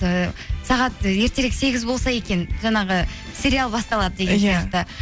ііі сағат ертерек сегіз болса екен жаңағы сериал басталады